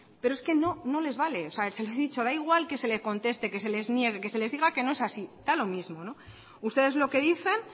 pero es que no no les vale da igual que se le conteste que se les niegue que se les diga que no es así da lo mismo ustedes lo que dicen